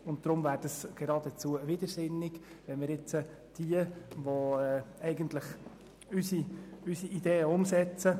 Deshalb wäre es geradezu widersinnig, diejenigen zu bestrafen, die unsere Ideen umsetzen.